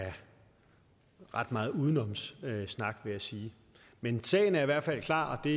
ret meget udenomssnak vil jeg sige men sagen er i hvert fald klar og det